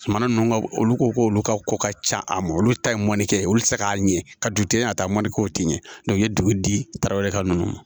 Kumana ninnu ka olu ko k'olu ka ko ka ca a ma olu ta ye mɔnikɛ olu tɛ se k'a ɲɛ ka duden ka taa mɔni kɛ o tɛ ɲɛ i ye dugu di tarawele ka ninnu ma